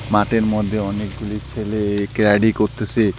মাতের মদ্যে অনেকগুলি ছেলে ক্যারাটে করতেসে।